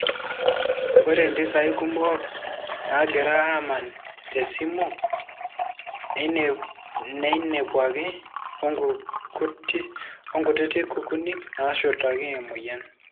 Ore mpisai kumok nagira amana tesimu neinepwaki wonkutiti kukuni nashurtaki emoyian.